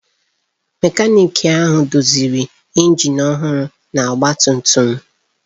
Mekaniki ahụ doziri injin ọhụrụ na ọgba tum tum m.